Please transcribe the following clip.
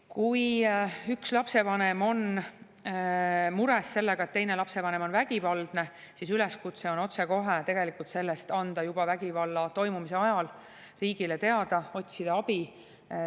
Kui üks lapsevanem on mures selle pärast, et teine lapsevanem on vägivaldne, siis üleskutse on anda otsekohe, juba vägivalla toimumise ajal sellest riigile teada, otsida abi.